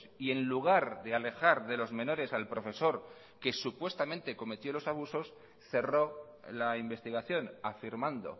y en lugar de alejar de los menores al profesor que supuestamente cometió los abusos cerró la investigación afirmando